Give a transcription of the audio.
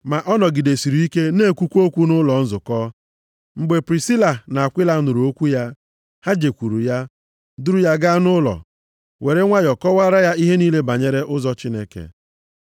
Ma ọ nọgidesịrị ike na-ekwuwa okwu nʼụlọ nzukọ. Mgbe Prisila na Akwila nụrụ okwu ya, ha jekwuru ya, duru ya gaa nʼụlọ, were nwayọọ kọwaara ya ihe niile banyere ụzọ Chineke.